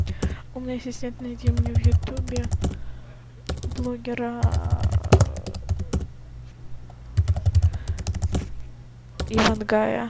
умный ассистент найди мне в ютубе блогера ивангая